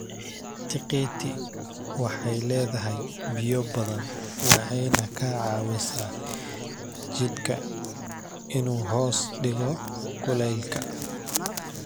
Tiqiiti waxay leedahay biyo badan waxayna ka caawisaa jidhka inuu hoos dhigo kulaylka.